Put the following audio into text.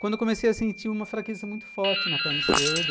Quando eu comecei a sentir uma fraqueza muito forte na perna esquerda,